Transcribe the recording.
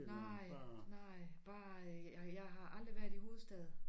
Nej nej bare jeg har aldrig været i hovedstaden